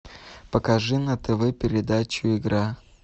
покажи на тв передачу игра